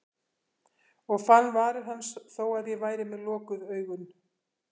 Og fann varir hans þó að ég væri með lokuð augun.